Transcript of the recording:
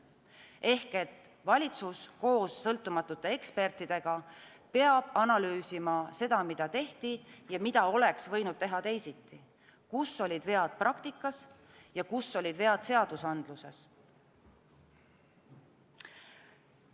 Ehk valitsus koos sõltumatute ekspertidega peab analüüsima seda, mida tehti ja mida oleks võinud teha teisiti, kus olid vead praktikas ja kus olid vead seadusandluses.